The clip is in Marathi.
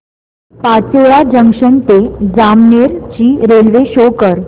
पाचोरा जंक्शन ते जामनेर ची रेल्वे शो कर